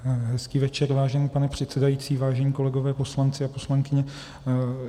Hezký večer, vážený pane předsedající, vážení kolegové, poslanci a poslankyně.